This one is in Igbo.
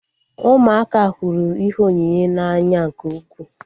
Ụmụaka hụrụ ihe onyinye n'anya nke ukwuu